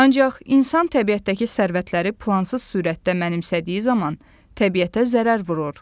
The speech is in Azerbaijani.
Ancaq insan təbiətdəki sərvətləri plansız sürətdə mənimsədiyi zaman təbiətə zərər vurur.